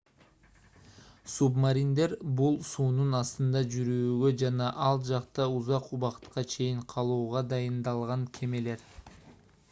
субмариндер бул суунун астында жүрүүгө жана ал жакта узак убакытка чейин калууга дайындалган кемелер